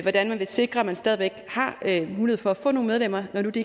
hvordan man vil sikre at der stadig væk er mulighed for at få nogle medlemmer når de